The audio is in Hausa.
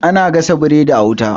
ana gasa biredi a wuta